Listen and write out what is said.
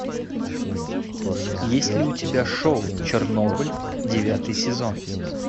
есть ли у тебя шоу чернобыль девятый сезон